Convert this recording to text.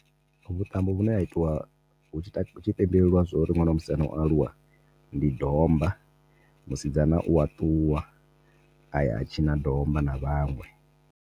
Vhuṱambo vhune ha itiwa hu tshi pembelwa zwauri ṅwana wa musanda o aluwa ndi domba, musidzana uwa ṱuwa aya a tshina domba na vhaṅwe.